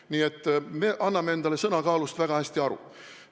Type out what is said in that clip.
Nii et me anname endale sõna kaalust väga hästi aru.